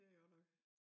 Det godt nok